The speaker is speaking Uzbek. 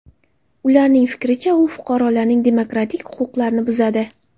Ularning fikricha, u fuqarolarning demokratik huquqlarini buzadi.